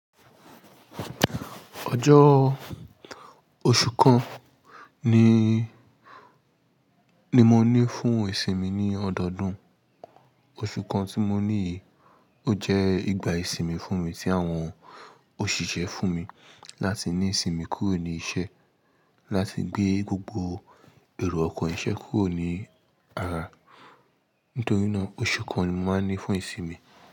Ọjọ́ oṣù kan ni, ni mo ní fún ìsinmi ní ọdọọdún. Oṣù kan tí mo ní yìí, ó jẹ́ ìgbà ìsinmi fún mi tí àwọn òṣìṣẹ́ fún mi láti ní ìsinmi kúrò ní iṣẹ́, láti gbé gbogbo èrò ọkọ̀ iṣẹ́ kúrò ní ara. Nítorí náà oṣù kan ni mo máa ní fún ìsinmi.